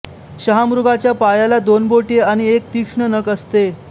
शहामृगाच्या पायाला दोन बोटे आणि एक तीक्ष्ण नख असते